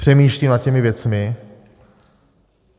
Přemýšlím nad těmi věcmi.